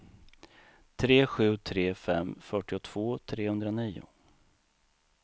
tre sju tre fem fyrtiotvå trehundranio